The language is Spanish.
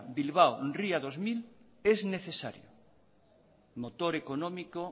bilbao ría dos mil es necesario motor económico